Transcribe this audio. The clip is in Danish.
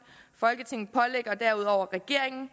folketinget pålægger herudover regeringen